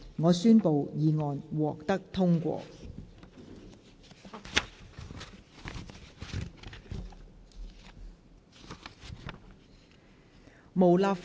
我宣布議案獲得通過。